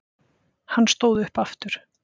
Hann stóð upp aftur.